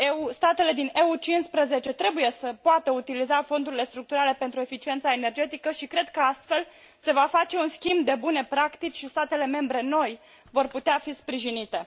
statele din UE 15 trebuie să poată utiliza fondurile structurale pentru eficiența energetică și cred că astfel se va face un schimb de bune practici și statele membre noi vor putea fi sprijinite.